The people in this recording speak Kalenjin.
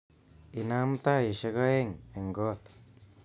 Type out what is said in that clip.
Inam taishek aeng eng kot